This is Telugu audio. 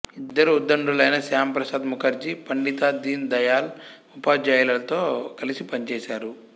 ఇద్దరు ఉద్దండులైన శ్యామ ప్రసాద్ ముఖర్జీ పండిత దీన దయాళ్ ఉపాధ్యాయలతో కలిసి పనిచేశారు